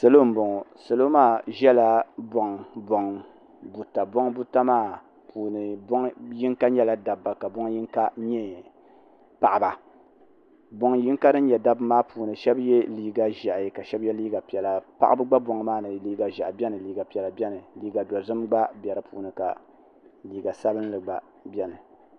salo n bɔŋɔ salo maa ʒɛla bɔŋ bɔŋ buta bɔŋ buta maa puuni bɔŋ yim ka nyɛla da ba ka shɛbi nyɛ paɣba bɔŋ yiŋa maa puuni shɛbi yɛla liga ʒiɛhi ka shɛbi yɛ liga sabila ka shɛbi nyɛ paɣba shɛbi yɛ liga piɛla liga ʒiɛhi liga dozim gba bɛ di puuni liga sabinli gba bɛ dini